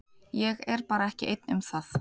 Ég er bara ekki einn um það.